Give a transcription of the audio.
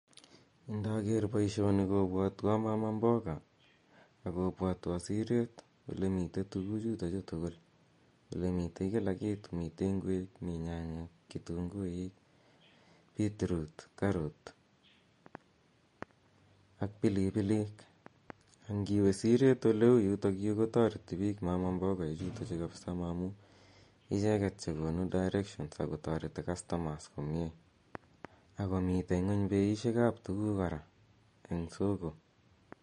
Indager poishoni kopwatwa mama mboga ak kopwatwa sireet ole mitei tuguchutachu tugul. Ole mitei kila kitu, mitei ngwek, mi nyanyek, kitunguik, beetroot karot ak pilipilik. Angiwe siret ole u yutayu ko tareti pich mama mboga ichutachu amu icheget che konu directions ak ko tareti customers komye. Ako miten ng'uny peishek ap tuguk kora eng' cs]soko.